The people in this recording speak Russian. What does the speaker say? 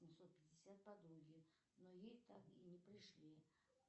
девятьсот пятьдесят подруге но ей так и не пришли